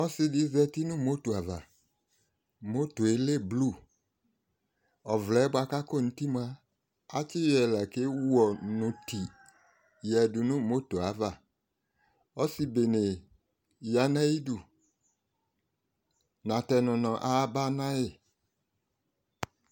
ɔsi di zati no moto ava moto yɛ lɛ blu ɔvlɛ boa kò akɔ n'uti moa atsi yɔ yi la k'ewu ɔnu ti ya du no moto ava ɔsi bene ya no ayi du na tɛ no mo aba na yi